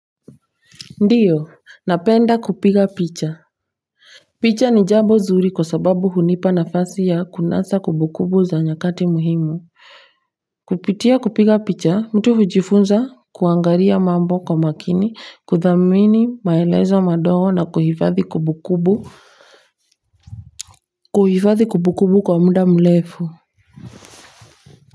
Ndiyo napenda kupiga picha picha ni jambo zuri kwa sababu hunipa nafasi ya kunasa kubukubu za nyakati muhimu kupitia kupiga picha mtu hujifunza kuangaria mambo kwa makini kudhamini maelezo madogo na kuhifathi kubukubu kuhifathi kubukubu kwa mda mlefu.